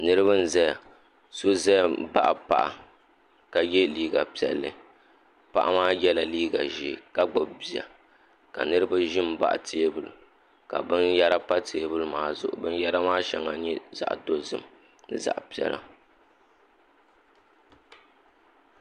Niriba n zaya so zaya mi n baɣi paɣa ka ye liiga piɛlli paɣa maa yela liiga ʒɛɛ ka gbubi bia ka niriba zi mbaɣi tɛɛbuli ka bini yɛra pa tɛɛbuli maa zuɣu bini yɛra maa shɛŋa nyɛ zaɣi dozim ni zaɣi piɛla.